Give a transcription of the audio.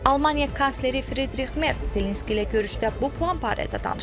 Almaniya kansleri Fridrix Merz Zelenski ilə görüşdə bu plan barədə danışıb.